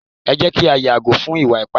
e jé kí a yàgò fún ìwà ipá